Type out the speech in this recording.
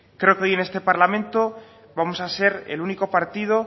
creo que hoy en este parlamento vamos a ser el único partido